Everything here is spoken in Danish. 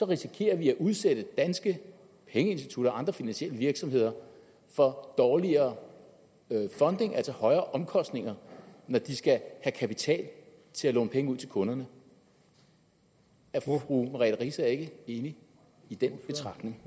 risikerer vi at udsætte danske pengeinstitutter og andre finansielle virksomheder for dårligere funding altså højere omkostninger når de skal have kapital til at låne penge ud til kunderne er fru merete riisager ikke enig i den betragtning